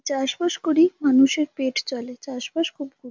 চাষবাস করি মানুষের পেট চলেচাষবাস খুব গুরু --